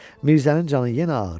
Mirzənin canı yenə ağrıyır.